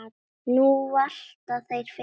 Nú valta þeir yfir Belga.